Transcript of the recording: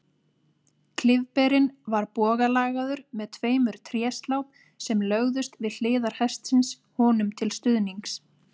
Klyfberinn var bogalagaður með tveimur tréslám sem lögðust við hliðar hestsins honum til stuðnings.